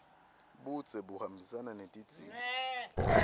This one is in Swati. budze buhambisana netidzingo